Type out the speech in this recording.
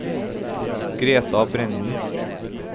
Greta Brenden